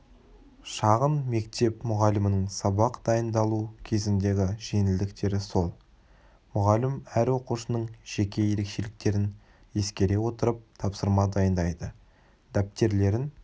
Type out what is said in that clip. шағын мектеп мұғалімінің сабақ дайындалу кезіндегі жеңілдіктері сол мұғалім әр оқушының жеке ерекшеліктерін ескере отырып тапсырма дайындайды дәптерлерін